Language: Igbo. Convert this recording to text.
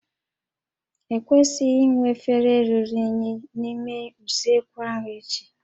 E kwesịghị inwe efere ruru unyi n'ime usekwu ahụ echi